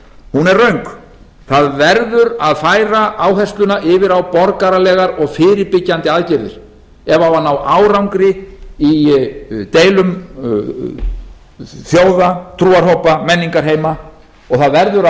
hún er röng það verður að færa áhersluna yfir á borgaralegar og fyrirbyggjandi aðgerðir ef það á að ná árangri í deilum þjóða trúarhópa menningarheima og það verður